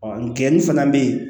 nkɛni fana bɛ yen